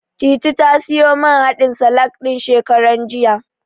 Titi ta siyo man haɗin salak ɗin, shekaran jiya.